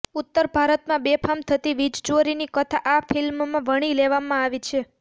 ઉત્તર ભારતમાં બેફામ થતી વીજચોરીની કથા આ ફિલ્મમાં વણી લેવામાં આવી છે